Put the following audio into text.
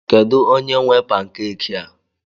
Kedu onye nwe pankeki a?